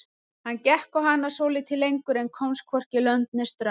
Hann gekk á hana svolítið lengur en komst hvorki lönd né strönd.